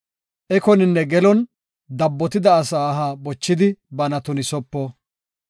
Ekoninne gelon dabbotida asa aha bochidi bana tunisopo.